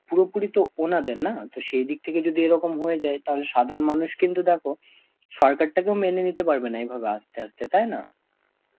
পুরোপুরি তো ওনাদের না? তো সেই দিক থেকে যদি এরকম হয়ে যায় তাহলে সাধারণ মানুষ কিন্তু দেখো সরকারটাকেও মেনে নিতে পারবে না এইভাবে আস্তে আস্তে তাই না?